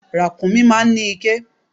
Ràkúnmí máa ń ní iké.